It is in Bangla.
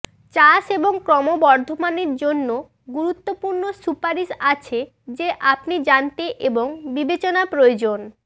চাষ এবং ক্রমবর্ধমান জন্য গুরুত্বপূর্ণ সুপারিশ আছে যে আপনি জানতে এবং বিবেচনা প্রয়োজন